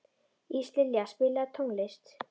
Íslilja, spilaðu tónlist.